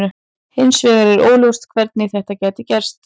Hins vegar var óljóst hvernig þetta gæti gerst.